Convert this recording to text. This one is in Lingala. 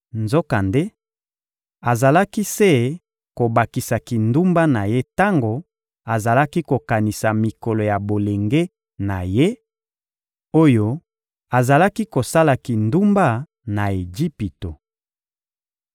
Nzokande, azalaki se kobakisa kindumba na ye tango azalaki kokanisa mikolo ya bolenge na ye, oyo azalaki kosala kindumba, na Ejipito.